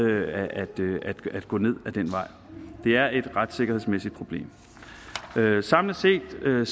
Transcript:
at gå ned ad den vej det er et retssikkerhedsmæssigt problem samlet set vil